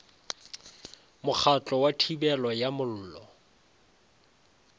mokgatlo wa thibelo ya mollo